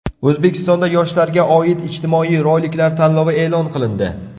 O‘zbekistonda yoshlarga oid ijtimoiy roliklar tanlovi e’lon qilindi.